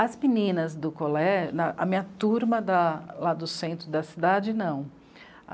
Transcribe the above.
As meninas do Colé... na, a minha turma da lá do centro da cidade, não.